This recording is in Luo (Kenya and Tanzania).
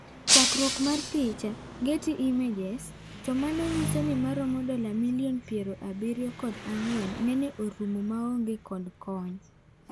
Chakruok mar picha, Getty Images to mano nyisoni maromo dola milion piero abirio kod ang'wen nen orumo ma onge kod konyo.